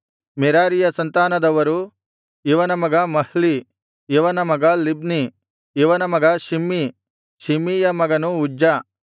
ಮೆರಾರೀಯ ಸಂತಾನದವರು ಇವನ ಮಗ ಮಹ್ಲೀ ಇವನ ಮಗ ಲಿಬ್ನೀ ಇವನ ಮಗ ಶಿಮ್ಮೀ ಶಿಮ್ಮೀಯ ಮಗನು ಉಜ್ಜ